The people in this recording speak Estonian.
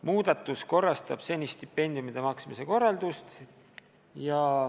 Muudatus korrastab senist stipendiumide maksmise korraldust.